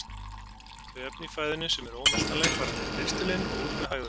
Þau efni í fæðunni sem eru ómeltanleg fara niður í ristilinn og út með hægðum.